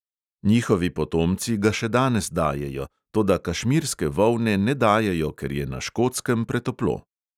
Njihovi potomci ga še danes dajejo, toda kašmirske volne ne dajejo, ker je na škotskem pretoplo.